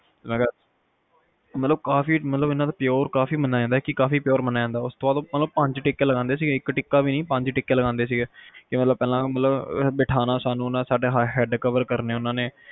ਮੈਂ ਕਿਹਾ ਮਤਲਬ ਕਾਫੀ ਕਾਫੀ pure ਮੰਨਿਆ ਜਾਂਦਾ ਇਹਨਾਂ ਉਸ ਤੋਂ ਬਾਅਦ ਪੰਜ ਟਿੱਕੇ ਲਗਾਂਦੇ ਸੀ ਇੱਕ ਵੀ ਨੀ ਪੰਜ ਟਿੱਕੇ ਲਗਾਂਦੇ ਸੀਗੇ ਕੇ ਮਤਲਬ ਪਹਿਲਾ ਤਾ ਬਿਠਾਣਾ ਸਾਨੂੰ head cover ਕਰਨੇ